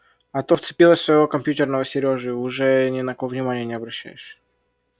а то вцепилась в своего компьютерного сережу и уже ни на кого внимания не обращаешь